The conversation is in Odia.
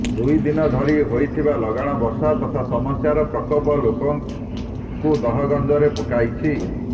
ଦୁଇଦିନ ଧରି ହୋଇଥିବା ଲଗାଣ ବର୍ଷା ତଥା ସମସ୍ୟାର ପ୍ରକୋପ ଲୋକଙ୍କୁ ଦହଗଞ୍ଜରେ ପକାଇଛି